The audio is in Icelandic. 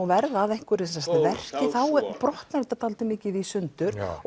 verða að einhverju verki þá brotnar þetta dálítið mikið í sundur